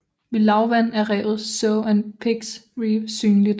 Ved lavvande er revet Sow and Pigs Reef synligt